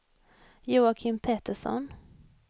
Joakim Petersson